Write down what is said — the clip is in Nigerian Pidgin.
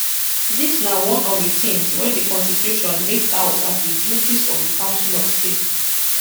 dis na one of di things wey di constitution list out as di duties of di council of state